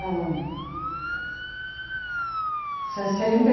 Não. Sessenta